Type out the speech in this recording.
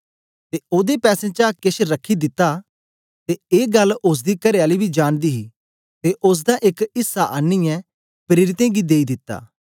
ते ओदे पैसें चा केछ रखी दिता ते ए गल्ल ओसदी करेआली बी जानदी ही ते ओसदा एक ऐसा आनीयै प्रेरितें गी देई दित्ता